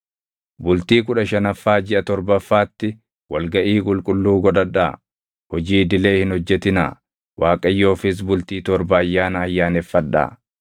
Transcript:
“ ‘Bultii kudha shanaffaa jiʼa torbaffaatti wal gaʼii qulqulluu godhadhaa; hojii idilee hin hojjetinaa. Waaqayyoofis bultii torba ayyaana ayyaaneffadhaa.